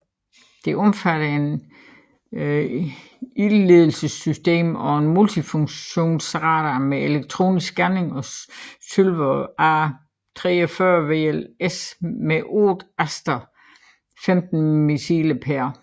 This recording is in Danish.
Det omfatter et ildledelsessystem og en multifunktionsradar med elektronisk scanning og Sylver A43 VLS med otte Aster 15 missiler pr